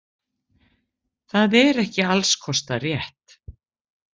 Það er ekki alls kostar rétt.